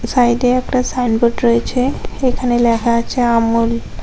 সাইডে একটা sign board রয়েছে এখানে লেখা আছে আমুল।